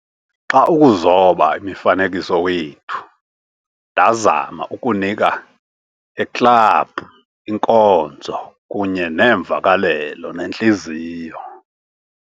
Xa ukuzoba imifanekiso wethu, ndazama ukunika- a club inkonzo kunye neemvakalelo nentliziyo"